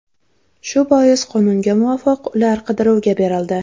Shu bois, qonunga muvofiq, ular qidiruvga berildi.